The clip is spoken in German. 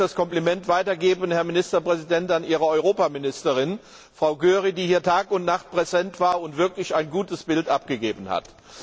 Ich möchte das Kompliment weitergeben, Herr Ministerpräsident, an Ihre Europaministerin, Frau Győri, die hier Tag und Nacht präsent war und wirklich ein gutes Bild abgegeben hat.